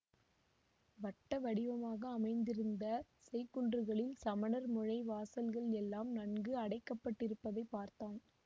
வட்ட வடிவமாக அமைந்திருந்த செய்குன்றுகளில் சமணர் முழை வாசல்கள் எல்லாம் நன்கு அடைக்கப்பட்டிருப்பதைப் பார்த்தான்